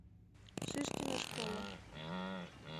шишкина школа